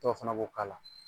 Dɔw fana b'o k'a la.